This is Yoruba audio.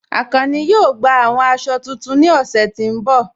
Akànnì yóò gbà awọn àṣọ̀ tuntun ní ọṣẹ̀ tí n bọ̀